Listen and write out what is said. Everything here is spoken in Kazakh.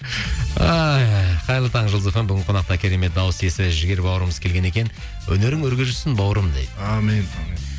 ай қайырлы таң жұлдыз фм бүгін қонақта керемет дауыс иесі жігер бауырымыз келген екен өнерің өрге жүзсін бауырым дейді әумин әумин